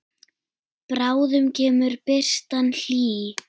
Bráðum kemur birtan hlý.